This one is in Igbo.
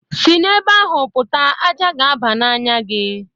Si n'ebe ahụ pụta ájá ga-aba n'anya gị